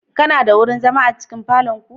Kana da wurin zama a cikin falon ku?